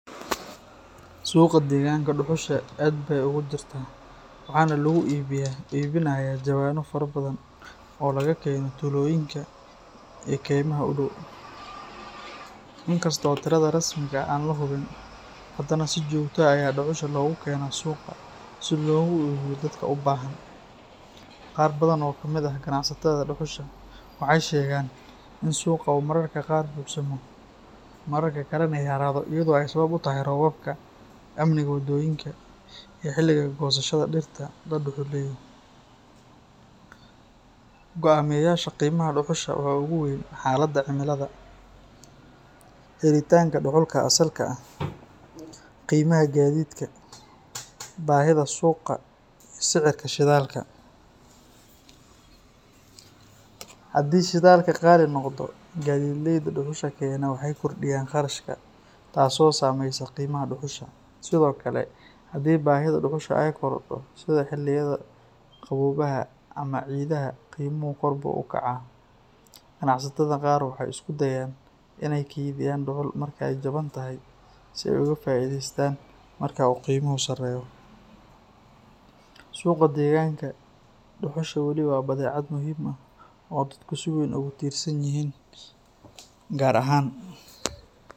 Suuqa deeganka duxusha aad baay ugudirta waxana lagu ii binayaa jawana fara badhan oo laga kena taloyinka ee keymaha udaw. Inkasto tiradha rasmiga ah oo an lahubin adana si jogta ah Aya duxusha lagukena suuqa si loga iibiyo dadka ubahan. Qaar badhan oo kamid ah ganacsatadha duxusha waxay sheegan inu suuqa oo mararka qaar buxsama mararka kalana ay halawda ayidho sawab utahay robabka amni wadonyinka ee xiliga goosashadha dirta duxuleyda. Goameyasha qiimaha duxusha uguweyn xalada cimiladha. Helitanka duxulka asalka ah qiimaha gadhidka, bahidha suuqa, sidha ka shidhalka. Hadii shidhalka qali noqdo gadhidleyda duxusha kena waxey kordiyaan qarashka taaso saameysi qeymaha duxusha sidhokale hdii bahidha duxusha ay korada sidha xiliyadha qabowaha ama ciidhaha qiimo korbu ukaca ganacsatadha qaar waxay iskudayan inay ka iibiyan duxul Markay jabantahay si ay ugu faidheystan marku u qeymaha u sareyo. Suuqa deeganka duxusha waliba badhecad muhim ah oo dadka si weyn ugu tiirsanyihin gaar ahaan.